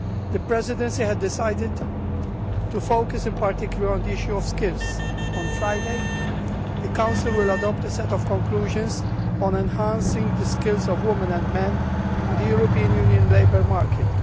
The Presidency had decided to focus in particular on the issue of skills. On Friday, the Council will adopt a set of conclusions on enhancing the skills of women and men on the European Union's labour market.